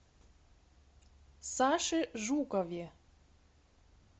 саше жукове